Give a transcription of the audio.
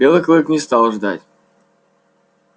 белый клык не стал ждать